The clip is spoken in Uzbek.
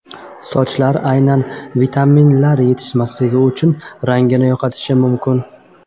Sochlar aynan vitaminlar yetishmasligi tufayli rangini yo‘qotishi mumkin.